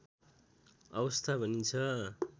अवस्था भनिन्छ